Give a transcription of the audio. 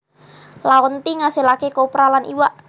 Laonti ngasilaké kopra lan iwak